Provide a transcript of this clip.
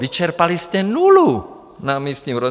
Vyčerpali jste nulu na místním rozvoji.